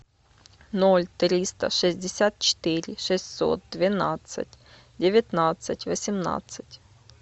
ноль триста шестьдесят четыре шестьсот двенадцать девятнадцать восемнадцать